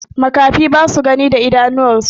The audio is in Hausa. makahi basa Gani da idanuwan su